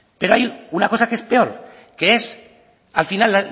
pero hay una cosa que es peor que es al final